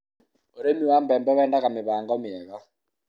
ũrĩmi wa mbembe wendaga mĩbango mirga